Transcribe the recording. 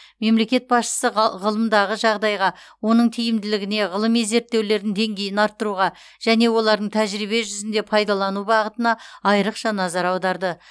мемлекет басшысы ға ғылымдағы жағдайға оның тиімділігіне ғылыми зерттеулердің деңгейін арттыруға және олардың тәжірибе жүзінде пайдалану бағытына айрықша назар аударды